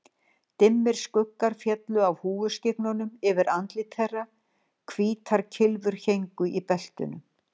Dimmir skuggar féllu af húfuskyggnunum yfir andlit þeirra, hvítar kylfur héngu í beltunum.